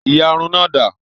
Ìyárún náà da?